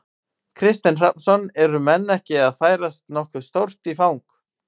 Kristinn Hrafnsson: Eru menn ekki að færast nokkuð stórt í, í fang?